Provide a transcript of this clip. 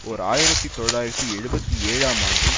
ஓர் ஆயிரத்தி தொள்ளாயிரத்தி எழுபத்தி ஏழாம் ஆண்டு